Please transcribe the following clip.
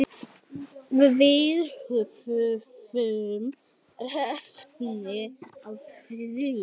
Við höfum efni á því.